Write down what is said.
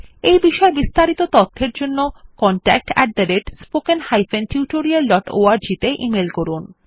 এই বিষয় বিস্তারিত তথ্যের জন্য contactspoken tutorialorg তে ইমেল করুন